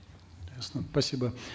ясно спасибо